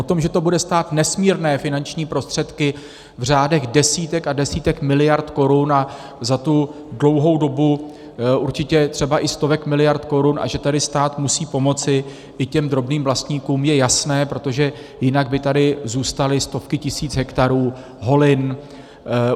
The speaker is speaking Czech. To, že to bude stát nesmírné finanční prostředky v řádech desítek a desítek miliard korun a za tu dlouhou dobu určitě třeba i stovek miliard korun a že tady stát musí pomoci i těm drobným vlastníkům, je jasné, protože jinak by tady zůstaly stovky tisíc hektarů holin.